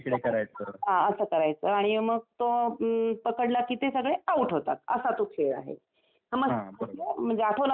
हा असं करायचं आणि मग तो अम्म पकडला कि ते सगळे आउट होतात असा तो खेळ आहे समजलं म्हणजे आठवलं ना तुला आता?